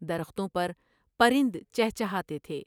درختوں پر پرند چہچہاتے تھے ۔